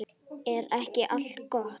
Er ekki allt gott?